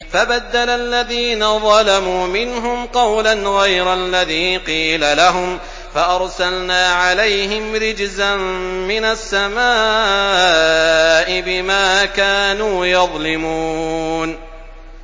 فَبَدَّلَ الَّذِينَ ظَلَمُوا مِنْهُمْ قَوْلًا غَيْرَ الَّذِي قِيلَ لَهُمْ فَأَرْسَلْنَا عَلَيْهِمْ رِجْزًا مِّنَ السَّمَاءِ بِمَا كَانُوا يَظْلِمُونَ